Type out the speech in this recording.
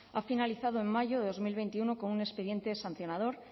ha finalizado en mayo de dos mil veintiuno con un expediente sancionador